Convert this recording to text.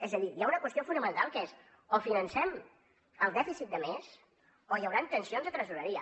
és a dir hi ha una qüestió fonamental que és o financem el dèficit de més o hi hauran tensions de tresoreria